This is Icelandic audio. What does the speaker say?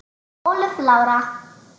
Þín Ólöf Lára.